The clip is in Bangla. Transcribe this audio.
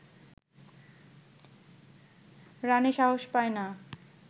রানে সাহস পায় না